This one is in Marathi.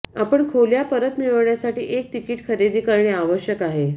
आपण खोल्या परत मिळवण्यासाठी एक तिकीट खरेदी करणे आवश्यक आहे